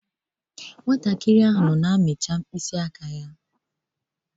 Nnwa ahụ amụrụ ọhụrụ na-amị mkpịsị aka ya.